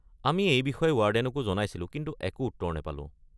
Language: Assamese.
আমি এই বিষয়ে ৱাৰ্ডেনকো জনাইছিলোঁ কিন্তু একো উত্তৰ নাপালোঁ।